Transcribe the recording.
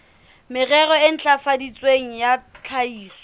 merero e ntlafaditsweng ya tlhahiso